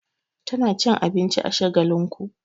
Tana cin abinci a Shagalinku.